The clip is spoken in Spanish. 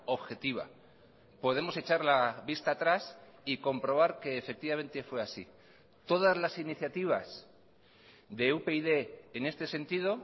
objetiva podemos echar la vista atrás y comprobar que efectivamente fue así todas las iniciativas de upyd en este sentido